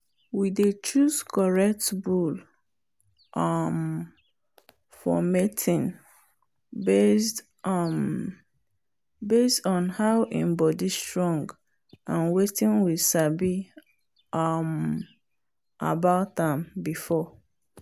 we dey choose correct bull um for mating based um on how im body strong and wetin we sabi about um am before.